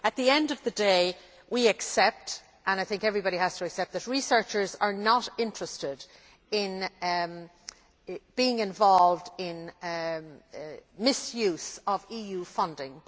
At the end of the day, we accept I think everyone has to accept that researchers are not interested in being involved in the misuse of EU funding.